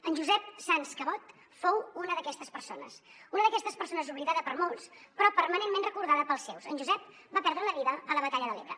en josep sans cabot fou una d’aquestes persones una d’aquestes persones oblidada per molts però permanentment recordada pels seus en josep va perdre la vida a la batalla de l’ebre